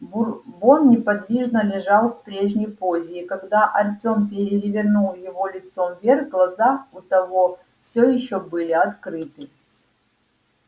бурбон неподвижно лежал в прежней позе и когда артём перевернул его лицом вверх глаза у того всё ещё были открыты